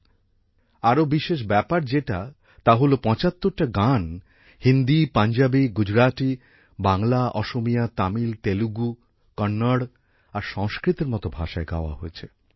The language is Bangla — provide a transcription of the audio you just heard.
এর মধ্যে আরও বিশেষ ব্যাপার যেটা তা হল পঁচাত্তরটা গান হিন্দী পাঞ্জাবি গুজরাতী বাংলা অসমিয়া তামিল তেলুগু কন্নড় আর সংস্কৃতের মত ভাষায় গাওয়া হয়েছে